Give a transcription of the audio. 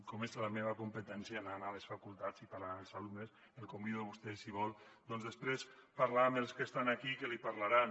com que és la meva competència anar a les facultats i parlar amb els alumnes el convido a vostè si vol doncs després parlar amb els que estan aquí que li parlaran